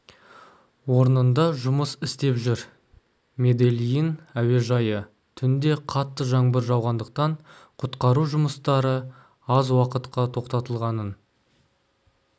орнында жұмыс істеп жүр медельин әуежайы түнде қатты жаңбыр жауғандықтан құтқару жұмыстары аз уақытқа тоқтатылғанын